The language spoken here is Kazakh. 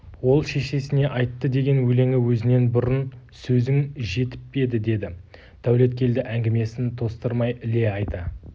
ол шешесіне айтты деген өлеңі өзіңнен бұрын сөзің жетіп еді деді дәулеткелді әңгімесін тостырмай іле айта